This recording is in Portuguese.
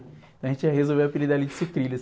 Então a gente já resolveu o apelido ali de Sucrilhos.